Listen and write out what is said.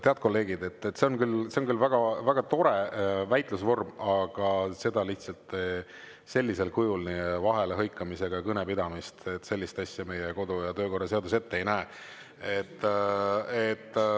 Head kolleegid, see on küll väga tore väitlusvorm, aga sellisel kujul vahele hõikamisega kõne pidamist, sellist asja meie kodu- ja töökorra seadus ette ei näe.